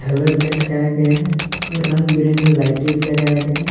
भी लटकाया गया हैं और रंग बिरंगी लाइटे भी लगाया गया है।